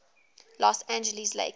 los angeles lakers